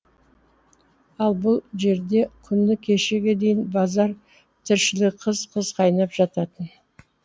ал бұл жерде күні кешеге дейін базар тіршілігі қыз қыз қайнап жататын